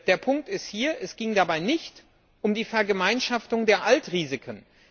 Der Punkt ist hier Es ging dabei nicht um die Vergemeinschaftung der Altrisiken.